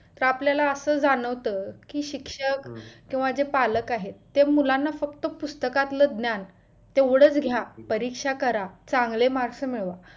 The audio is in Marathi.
तर आपल्याला अस जाणवतं कि शिक्षक किंवा जे पालक आहेत ते मुलांना फक्त पुस्तकातलं फक्त ज्ञान तेवढच घ्या परीक्षा करा चांगले marks मिळवा